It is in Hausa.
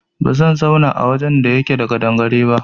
Ba zan zauna a wajen da yake da ƙadangare ba